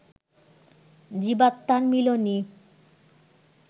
জীবাত্মার মিলনই